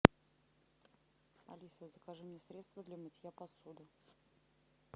алиса закажи мне средство для мытья посуды